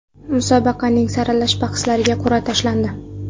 Musobaqaning saralash bahslariga qur’a tashlandi.